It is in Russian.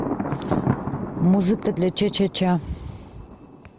музыка для ча ча ча